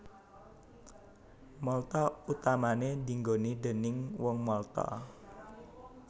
Malta utamané dienggoni déning Wong Malta